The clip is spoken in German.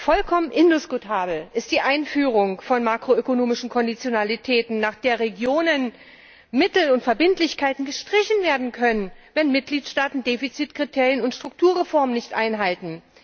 Vollkommen indiskutabel ist die Einführung von makro ökonomischen Konditionalitäten, nach der Regionen Mittel und Verbindlichkeiten gestrichen werden können, wenn Mitgliedstaaten Defizitkriterien und Strukturreformen nicht einhalten.